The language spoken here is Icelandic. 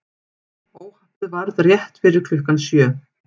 Óhappið varð rétt fyrir klukkan sjö